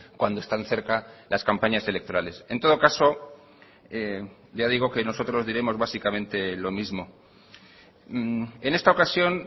cuando están cerca las campañas electorales en todo caso ya digo que nosotros diremos básicamente lo mismo en esta ocasión